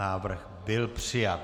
Návrh byl přijat.